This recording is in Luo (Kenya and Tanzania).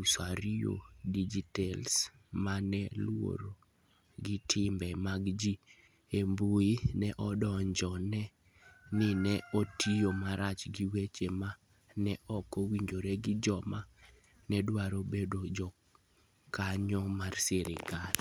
Usuarios Digitales, ma ne luwore gi timbe mag ji e mbui, ne odonjne ni ne otiyo marach gi weche ma ne ok owinjore gi joma ne dwaro bedo jokanyo mar sirkal.